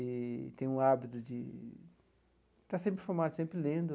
E tem um hábito de estar sempre informado, sempre lendo.